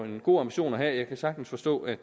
en god ambition at have jeg kan sagtens forstå at